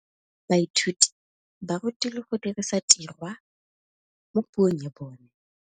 Baithuti ba rutilwe go dirisa tirwa mo puong ya bone.